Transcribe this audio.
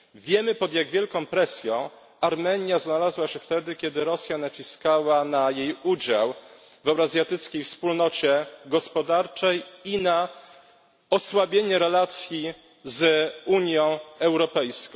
Wiemy pod jak wielką presją Armenia znalazła się wtedy, kiedy Rosja naciskała na jej udział w Euroazjatyckiej Wspólnocie Gospodarczej i na osłabienie relacji z Unią Europejską.